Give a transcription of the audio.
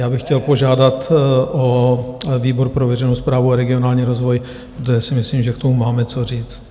Já bych chtěl požádat o výbor pro veřejnou správu a regionální rozvoj, protože si myslím, že k tomu máme co říct.